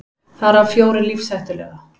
Þar af fjórir lífshættulega